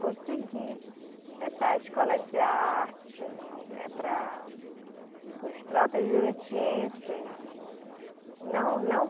Conseguir essa escola de arte, né, para para os próprios jurutienses. Não, não